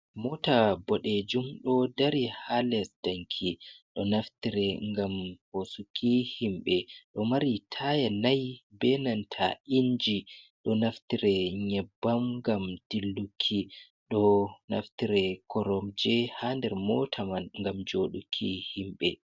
Moota boɗejum ɗo dari ha les danki, ɗo naftire ngam hoosuki himɓe, ɗo mari taaya nai, be nanta inji, ɗo naftire nyebbam ngam dilluki, ɗo naftire koromje ha nder moota man ngam jooɗuki himɓe.